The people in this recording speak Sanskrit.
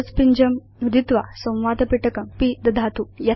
क्लोज़ पिञ्जं नुदित्वा संवादपिटकं पिदधातु